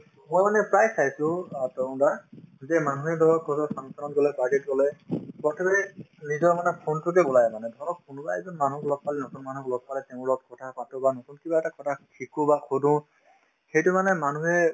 মই মানে প্ৰায় চাইছো অ তৰুণ দা যে মানুহে ধৰক কৰবাত function ত গলে party ত গলে প্ৰত্যেকৰে নিজৰ মানে phone তোতে মানে ধৰক কোনোবা এজন মানুহ লগ পালো নতুন মানুহক লগ পালে তেওঁৰ লগত কথা পাতো বা নতুন কিবা এটা কথা শিকো বা সুধো সেইটো মানে মানুহে